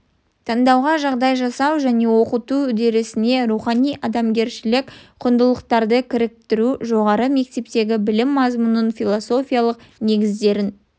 таңдауға жағдай жасау және оқыту үдерісіне рухани адамгершілік құндылықтарды кіріктіру жоғары мектептегі білім мазмұнының философиялық негіздерін